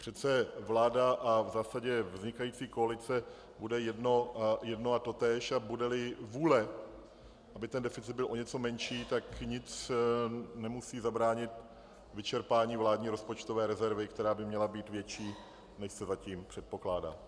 Přece vláda a v zásadě vznikající koalice bude jedno a totéž, a bude-li vůle, aby deficit byl o něco menší, tak nic nemusí zabránit vyčerpání vládní rozpočtové rezervy, která by měla být větší, než se zatím předpokládá.